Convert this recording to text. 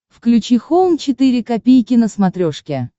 включи хоум четыре ка на смотрешке